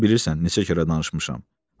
Özün bilirsən neçə kərə danışmışam.